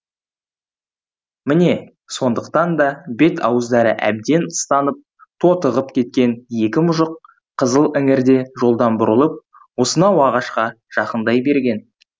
міне сондықтан да бет ауыздары әбден ыстанып тотығып кеткен екі мұжық қызыл іңірде жолдан бұрылып осынау ағашқа жақындай берген